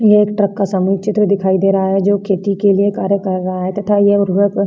यह एक ट्रक का सामूहिक चित्र दिखाई दे रहा है जो की खेती के लिए कार्य कर रहा है तथा यह उर्वरक --